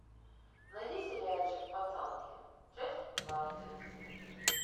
найди сериальчик пацанки часть двадцать